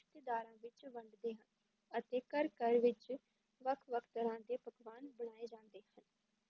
ਰਿਸ਼ਤੇਦਾਰਾਂ ਵਿੱਚ ਵੰਡਦੇ ਹਨ, ਅਤੇ ਘਰ ਘਰ ਵਿੱਚ ਵੱਖ ਵੱਖ ਤਰ੍ਹਾਂ ਦੇ ਪਕਵਾਨ ਬਣਾਏ ਜਾਂਦੇ ਹਨ।